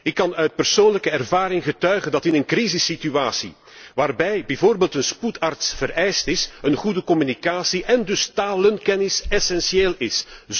Wel, ik kan uit persoonlijke ervaring getuigen dat in een crisissituatie waarbij bijvoorbeeld een spoedarts vereist is, een goede communicatie en dus talenkennis essentieel is.